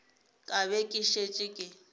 ka be ke šetše ke